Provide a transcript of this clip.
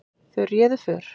Þau réðu för.